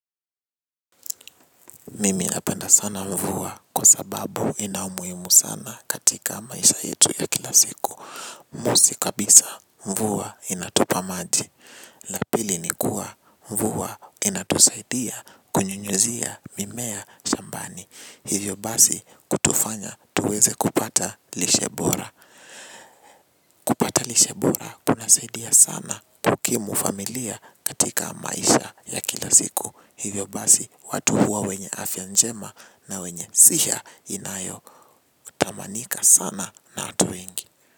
Mimi napenda sana mvua kwa sababu ina umuhimu sana katika maisha yetu ya kila siku. Mosi kabisa mvua inatupa maji. La pili ni kuwa mvua inatusaidia kunyunyuzia mimea shambani. Hivyo basi kutufanya tuweze kupata lishe bora. Pata lishe bora kunasaidia sana kukimu familia katika maisha ya kila siku. Hivyo basi watu huwa wenye afya njema na wenye siha inayo tamanika sana na watu wengi.